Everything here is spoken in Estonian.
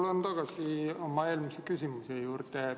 Ma tulen tagasi oma eelmise küsimuse juurde.